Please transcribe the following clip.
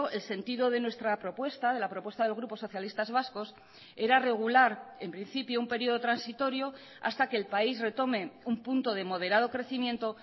el sentido de nuestra propuesta de la propuesta del grupo socialistas vascos era regular en principio un periodo transitorio hasta que el país retome un punto de moderado crecimiento